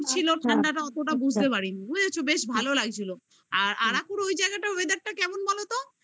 ছিল ঠাণ্ডাটা অতটা বুঝতে পারি নি বুঝেছো বেশ ভালো লাগছিল আর আর আরাকুর ওই জায়গাটা weather টা কেমন বলতো?